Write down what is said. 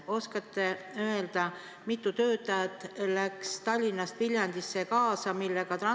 Kas oskate öelda, mitu töötajat läks Tallinnast Viljandisse kaasa?